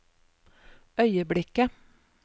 øyeblikket